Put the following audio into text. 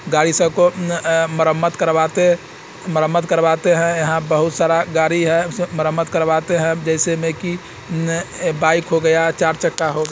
गाड़ी स को अ मरम्मत करवाते मरम्मत करवाते है यहाँ बहुत सारा गाड़ी है मर्रमत करवाते है जैसे मे की बाइक हो गया चार चक्का हो--